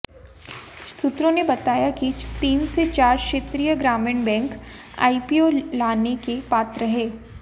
सूत्रों ने बताया कि तीन से चार क्षेत्रीय ग्रामीण बैंक आईपीओ लाने के पात्र हैं